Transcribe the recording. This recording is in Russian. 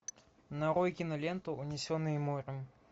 нарой киноленту унесенные морем